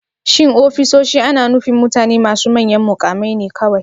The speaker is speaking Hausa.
Shin ofisoshi ana nufin mutane masu manyan mukamai ne kawai?